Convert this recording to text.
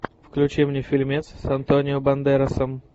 включи мне фильмец с антонио бандерасом